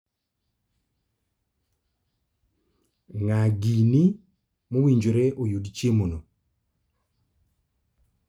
Ng'a gini mowinjore oyud chiemono?